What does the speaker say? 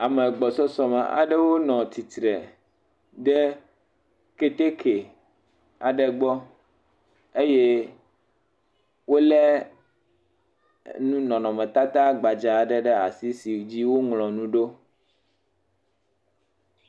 Ame gbɔsɔsɔme aɖewo nɔ tsitre ɖe keteke aɖe gbɔ, eye wolé nu nɔnɔmetata gbadzaa ɖe ɖe asi si dzi woŋlɔ nu ɖo.